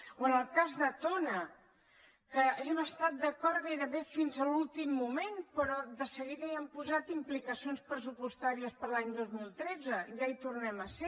o en el cas de tona que hem estat d’acord gairebé fins a l’últim moment però de seguida hi han posat implicacions pressupostàries per a l’any dos mil tretze i ja hi tornem a ser